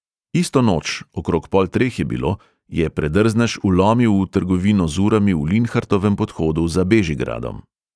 Isto noč, okrog pol treh je bilo, je predrznež vlomil v trgovino z urami v linhartovem podhodu za bežigradom.